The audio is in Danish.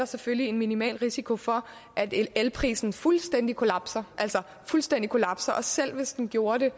selvfølgelig er en minimal risiko for at elprisen fuldstændig kollapser fuldstændig kollapser selv hvis den gjorde det